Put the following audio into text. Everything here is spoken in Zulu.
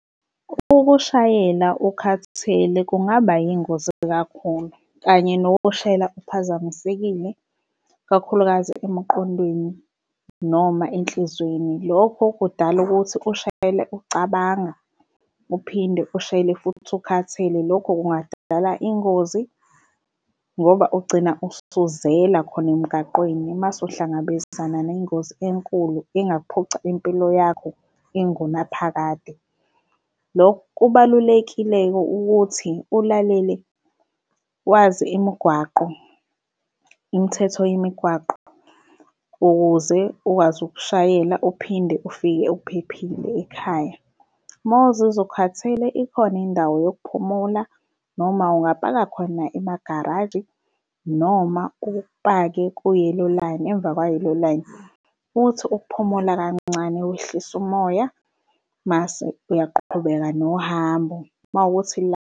Ukushayela ukhathele kungaba yingozi kakhulu kanye nokushayela uphazakamisekile kakhulukazi emqondweni noma enhlizweni. Lokho kudala ukuthi ushayele ucabanga uphinde ushayele futhi usukhathele. Lokho kungadala ingozi, ngoba ugcina usuzela khona emgaqweni mase uhlangabezana nengozi enkulu engaphuca impilo yakho ingunaphakade. Lokho kubalulekile-ke ukuthi, ulalele wazi imigwaqo, imithetho yemigwaqo ukuze ukwazi ukushayela uphinde ufike uphephile ekhaya. Uma uzizwa ukhathele ikhona indawo yokuphumula noma ungapaka khona emagaraji noma upake ku-yellow line, emvakwa-yellow line uthi ukuphumula kancane, wehlise umoya mase uyaqhubeka nohambo uma wukuthi .